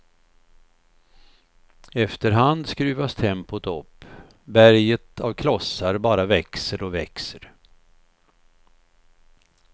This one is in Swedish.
Efter hand skruvas tempot upp, berget av klossar bara växer och växer.